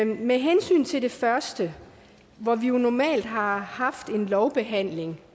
med hensyn til det første hvor vi jo normalt har haft en lovbehandling